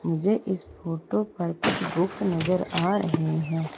मुझे इस फोटो पर कुछ बुक्स नजर आ रहे हैं।